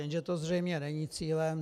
Jenže to zřejmě není cílem.